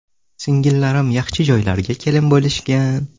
Singillarim yaxshi joylarga kelin bo‘lishgan.